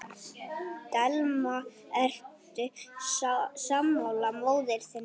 Telma: Ertu sammála móður þinni?